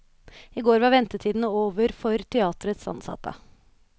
I går var ventetiden over for teaterets ansatte.